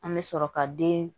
An bɛ sɔrɔ ka den